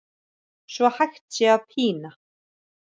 svo hægt sé að pína